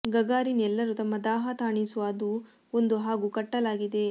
Gagarin ಎಲ್ಲರೂ ತಮ್ಮ ದಾಹ ತಣಿಸುವ ಅದು ಒಂದು ಹಾಗೂ ಕಟ್ಟಲಾಗಿದೆ